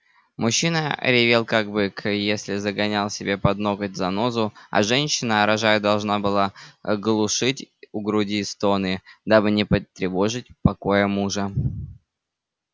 мужчина ревел как бык если загонял себе под ноготь занозу а женщина рожая должна была глушить в груди стоны дабы не потревожить покоя мужа